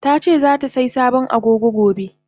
Tace zatasai sabon Agogo gobe.